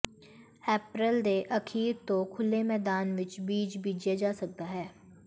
ਅਪ੍ਰੈਲ ਦੇ ਅਖੀਰ ਤੋਂ ਖੁੱਲ੍ਹੇ ਮੈਦਾਨ ਵਿਚ ਬੀਜ ਬੀਜਿਆ ਜਾ ਸਕਦਾ ਹੈ